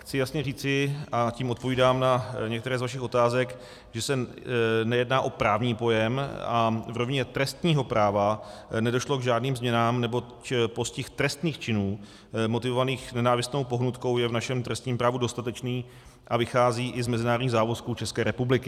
Chci jasně říci, a tím odpovídám na některé z vašich otázek, že se nejedná o právní pojem a v rovině trestního práva nedošlo k žádným změnám, neboť postih trestných činů motivovaných nenávistnou pohnutkou je v našem trestním právu dostatečný a vychází i z mezinárodních závazků České republiky.